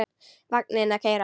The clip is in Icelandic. Vagninn að keyra.